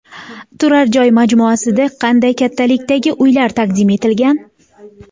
Turar joy majmuasida qanday kattalikdagi uylar taqdim etilgan?